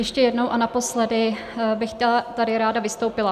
Ještě jednou a naposledy bych tady ráda vystoupila.